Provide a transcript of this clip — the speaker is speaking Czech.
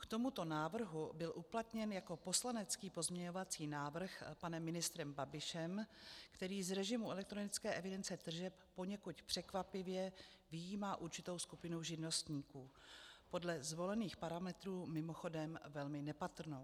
K tomuto návrhu byl uplatněn jako poslanecký pozměňovací návrh panem ministrem Babišem, který z režimu elektronické evidence tržeb poněkud překvapivě vyjímal určitou skupinu živnostníků, podle zvolených parametrů mimochodem velmi nepatrnou.